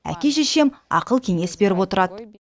әке шешем ақыл кеңес беріп отырады